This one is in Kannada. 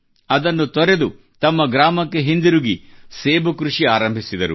ಅದನ್ನು ತೊರೆದು ತಮ್ಮ ಗ್ರಾಮಕ್ಕೆ ಹಿಂದಿರುಗಿ ಸೇಬು ಕೃಷಿ ಆರಂಭಿಸಿದರು